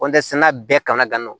kɔntiniyera bɛɛ kana ka n'o